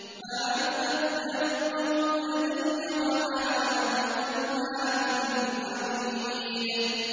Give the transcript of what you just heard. مَا يُبَدَّلُ الْقَوْلُ لَدَيَّ وَمَا أَنَا بِظَلَّامٍ لِّلْعَبِيدِ